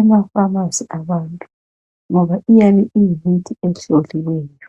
emafamasi abantu ngoba kuyabe kuyimithi ehloliweyo.